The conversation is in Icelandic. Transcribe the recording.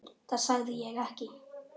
Það sagði ég ekki